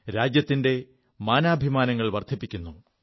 രാജ്യത്തിന്റെ മാനാഭിമാനങ്ങൾ വർധിപ്പിക്കുു